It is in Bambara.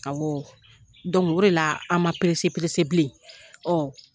Awɔ o de la an ma bilen Ɔ